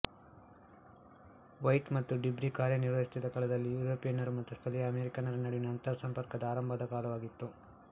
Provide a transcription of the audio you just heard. white ಮತ್ತು de Bry ಕಾರ್ಯನಿರ್ವಹಿಸುತ್ತಿದ್ದ ಕಾಲದಲ್ಲಿ ಯುರೋಪಿಯನ್ನರು ಮತ್ತು ಸ್ಥಳೀಯ ಅಮೆರಿಕನ್ನರ ನಡುವಿನ ಅಂತರಸಂಪರ್ಕದ ಆರಂಭದ ಕಾಲವಾಗಿತ್ತು